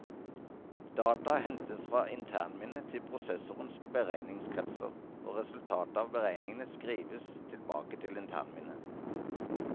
Data hentes fra internminnet til prosessorens beregningskretser, og resultatet av beregningene skrives tilbake til internminnet.